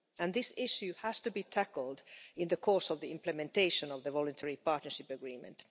This issue has to be tackled in the course of the implementation of the Voluntary Partnership Agreement.